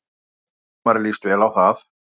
Hjálmari líst vel á það.